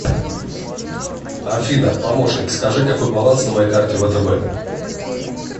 афина помощник скажи какой баланс на моей карте втб